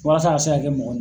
Walasa a ka se ka kɛ mɔgɔ